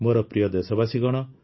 ମୋର ପ୍ରିୟ ଦେଶବାସୀଗଣ